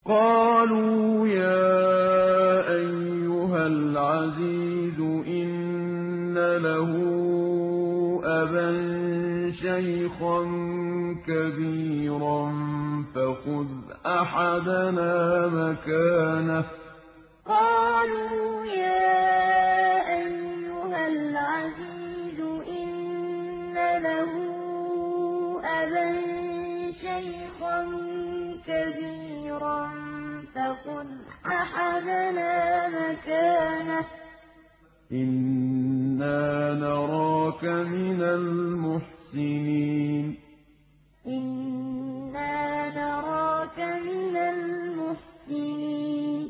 قَالُوا يَا أَيُّهَا الْعَزِيزُ إِنَّ لَهُ أَبًا شَيْخًا كَبِيرًا فَخُذْ أَحَدَنَا مَكَانَهُ ۖ إِنَّا نَرَاكَ مِنَ الْمُحْسِنِينَ قَالُوا يَا أَيُّهَا الْعَزِيزُ إِنَّ لَهُ أَبًا شَيْخًا كَبِيرًا فَخُذْ أَحَدَنَا مَكَانَهُ ۖ إِنَّا نَرَاكَ مِنَ الْمُحْسِنِينَ